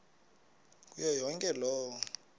kuyo yonke loo